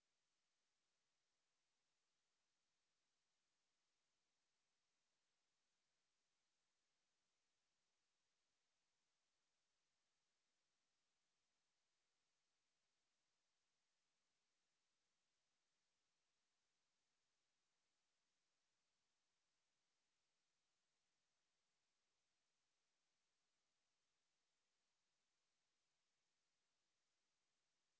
to